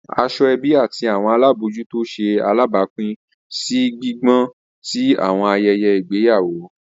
Asoebi ati awọn alabojuto ṣe alabapin si gbigbọn ti awọn ayẹyẹ igbeyawo.